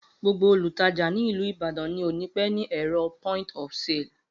Gbogbo Olùtajà nìlú ìbàdàn ni òní pẹ ní ẹrọ P.O.S.